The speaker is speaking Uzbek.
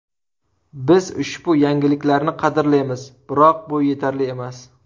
Biz ushbu yangiliklarni qadrlaymiz, biroq bu yetarli emas.